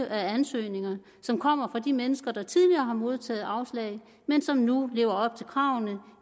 af ansøgninger som kommer fra de mennesker der tidligere har modtaget afslag men som nu lever op til kravene